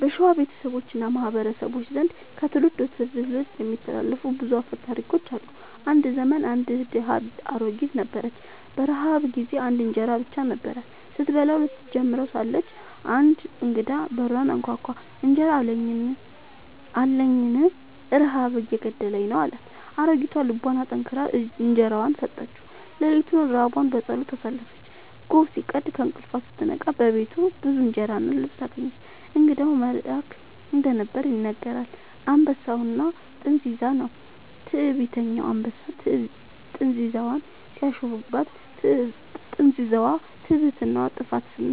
በሸዋ ቤተሰቦች እና ማህበረሰቦች ዘንድ ከትውልድ ወደ ትውልድ የሚተላለፉ ብዙ አፈ ታሪኮች አሉ። አንድ ዘመን አንድ ድሃ አሮጊት ነበረች። በረሃብ ጊዜ አንድ እንጀራ ብቻ ነበራት። ስትበላው ልትጀምር ሳለች አንድ እንግዳ በሩን አንኳኳ፤ «እንጀራ አለኝን? ረሃብ እየገደለኝ ነው» አላት። አሮጊቷ ልቧን አጠንክራ እንጀራዋን ሰጠችው። ሌሊቱን ራቧን በጸሎት አሳለፈች። ጎህ ሲቀድ ከእንቅልፏ ስትነቃ በፊቷ ብዙ እንጀራ እና ልብስ አገኘች። እንግዳው መልአክ እንደነበር ይነገራል። «አንበሳና ጥንዚዛ» ነው። ትዕቢተኛ አንበሳ ጥንዚዛን ሲያሾፍባት፣ ጥንዚዛዋ «ትዕቢትህ ጥፋትህ